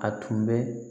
A tun bɛ